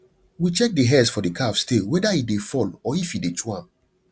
we check the hairs for the calves tail whether e dey fall or if e dey chew am